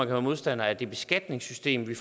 være modstander af det beskatningssystem vi